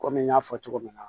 Kɔmi n y'a fɔ cogo min na